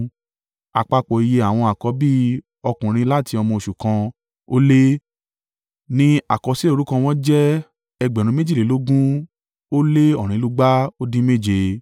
Àpapọ̀ iye àwọn àkọ́bí ọkùnrin láti ọmọ oṣù kan ó lé, ní àkọsílẹ̀ orúkọ wọn jẹ́ ẹgbẹ̀rún méjìlélógún ó lé ọ̀rìnlúgba ó dín méje (22,273).